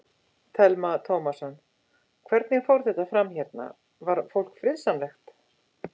Telma Tómasson: Hvernig fór þetta fram hérna, var fólk friðsamlegt?